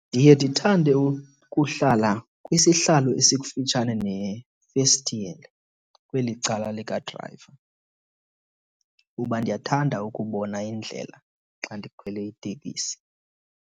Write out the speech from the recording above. Ndiye ndithande ukuhlala kwisihlalo esikufitshane nefestile kweli cala lika drayiva kuba ndiyathanda ukubona indlela xa ndikhwele iteksi.